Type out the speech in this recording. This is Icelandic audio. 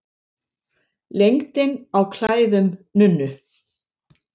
Lengdin á klæðum nunnu.